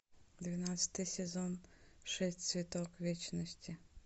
двенадцатый сезон шесть цветок вечности